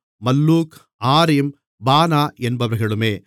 மல்லூக் ஆரிம் பானா என்பவர்களுமே